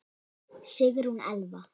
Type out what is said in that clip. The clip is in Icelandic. Sigrún Elfa.